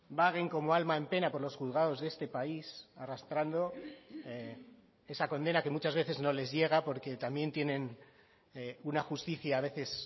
vaguen como alma en pena por los juzgados de este país arrastrando esa condena que muchas veces no les llega porque también tienen una justicia a veces